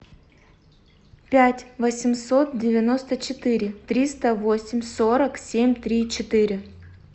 пять восемьсот девяносто четыре триста восемь сорок семь три четыре